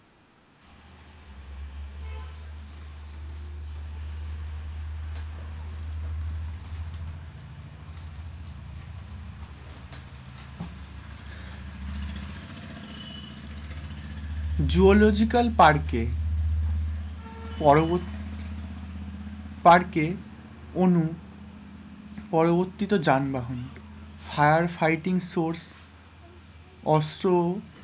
zoological park এ পরবর্তী park এ অণু পরবর্তীত যানবাহন higher fighting source অস্ত্র,